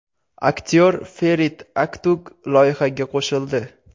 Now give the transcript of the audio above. Aktyor Ferit Aktug loyihaga qo‘shildi.